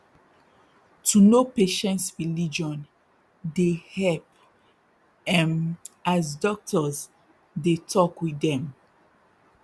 to know patients religion deyy help um as doctors dey talk with dem